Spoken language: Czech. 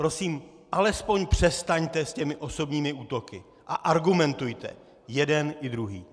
Prosím alespoň přestaňte s těmi osobními útoky a argumentujte - jeden i druhý.